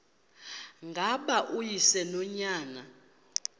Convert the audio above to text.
ngaba uyise nonyana